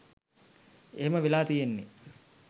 එහෙම වෙලා තියෙන්නෙ